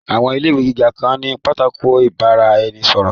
Àwọn ilé ìwé gíga kan ní pátákó ìbára-ẹni-sọ̀rọ̀